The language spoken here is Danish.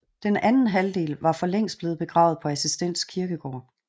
Den anden halvdel var for længst blevet begravet på Assistens Kirkegård